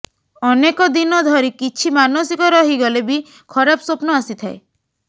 ଅନେକ ଦିନ ଧରି କିଛି ମାନସିକ ରହିଗଲେ ବି ଖରାପ ସ୍ୱପ୍ନ ଆସିଥାଏ